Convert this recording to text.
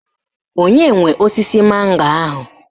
Onye nwe osisi mango ahụ?